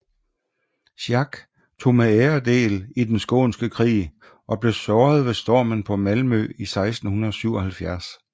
Schack tog med ære del i Den Skånske Krig og blev såret ved stormen på Malmø 1677